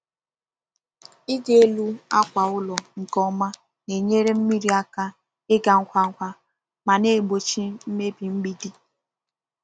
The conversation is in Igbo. Ịdị elu akwa ụlọ nke ọma na-enyere mmiri aka ịga ngwa ngwa ma na-egbochi mmebi mgbidi.